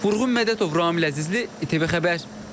Vurğun Mədətov, Ramil Əzizli, ATV Xəbər.